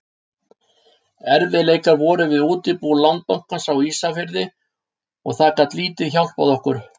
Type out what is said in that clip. Erfiðleikar voru við útibú Landsbankans á Ísafirði og það gat lítið hjálpað okkur.